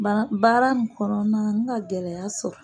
Baara baara nin kɔnɔna na n ka gɛlɛya sɔrɔ.